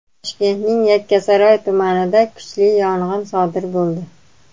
Toshkentning Yakkasaroy tumanida kuchli yong‘in sodir bo‘ldi.